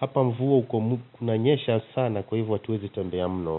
hapa mvua kuna nyesha sana kwa hivyo hatuwezi tembea mno.